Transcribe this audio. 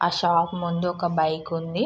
ఆ షాప్ ముందు ఒక బైక్ ఉంది.